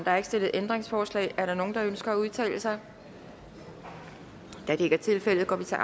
er ikke stillet ændringsforslag er der nogen der ønsker at udtale sig da det ikke er tilfældet går vi til